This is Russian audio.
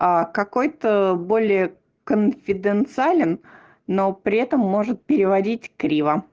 а какой-то более конфиденциален но при этом может переводить криво